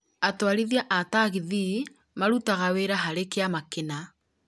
atwarithia a taxi marutaga wĩra harĩ kĩama kĩna